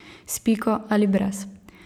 S piko ali brez.